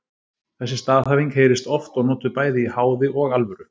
Þessi staðhæfing heyrist oft og notuð bæði í háði og alvöru.